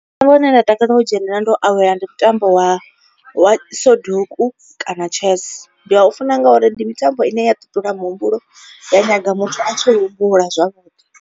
Mutambo une nda takalela u dzhenelela ndo awela ndi mutambo wa wa soduku kana chess. Ndi a u funa ngauri ndi mitambo ine ya ṱuṱula muhumbulo ya nyaga muthu a tshi humbula zwavhuḓi.